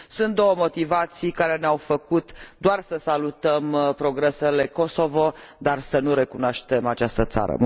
Sunt două motivații care ne au făcut doar să salutăm progresele Kosovo, dar să nu recunoaștem această țară.